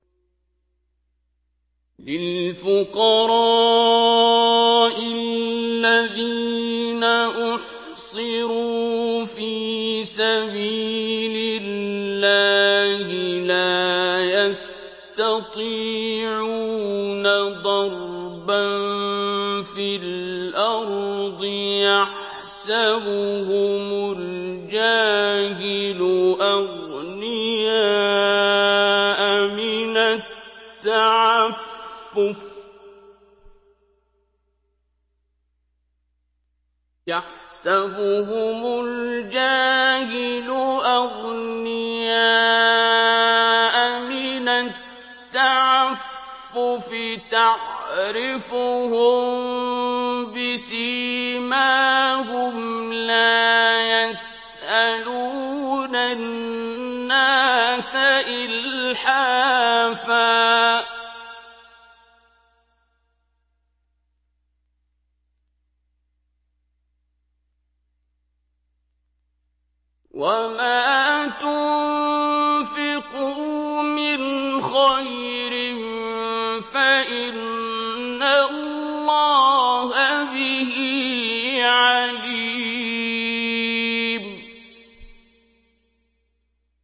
لِلْفُقَرَاءِ الَّذِينَ أُحْصِرُوا فِي سَبِيلِ اللَّهِ لَا يَسْتَطِيعُونَ ضَرْبًا فِي الْأَرْضِ يَحْسَبُهُمُ الْجَاهِلُ أَغْنِيَاءَ مِنَ التَّعَفُّفِ تَعْرِفُهُم بِسِيمَاهُمْ لَا يَسْأَلُونَ النَّاسَ إِلْحَافًا ۗ وَمَا تُنفِقُوا مِنْ خَيْرٍ فَإِنَّ اللَّهَ بِهِ عَلِيمٌ